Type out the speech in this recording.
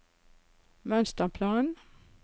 mønsterplan